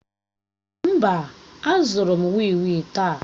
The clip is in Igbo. Mba, azụrụ m wii wii taa.